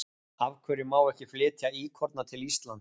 Af hverju má ekki flytja íkorna til Íslands?